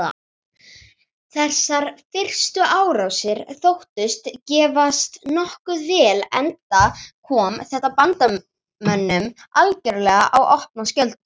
Þessar fyrstu árásir þóttust gefast nokkuð vel enda kom þetta bandamönnum algerlega í opna skjöldu.